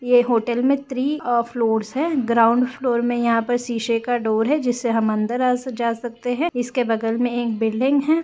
यह होटल में थ्री औ फ्लोर्स है ग्राउंड फ्लोर में यहाँ पर शीशे का डोर है जिससे हम अंदर आ जा सकते है इसके बगल में एक बिल्डिंग है।